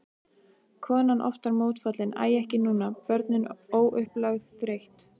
Konan oftar mótfallin, æ ekki núna, börnin, óupplögð, þreytt.